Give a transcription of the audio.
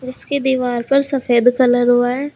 इसके दीवार पर सफेद कलर हुआ है।